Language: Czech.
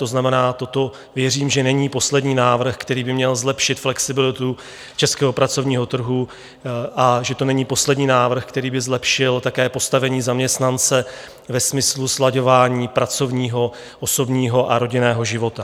To znamená, toto věřím, že není poslední návrh, který by měl zlepšit flexibilitu českého pracovního trhu, a že to není poslední návrh, který by zlepšil také postavení zaměstnance ve smyslu slaďování pracovního, osobního a rodinného života.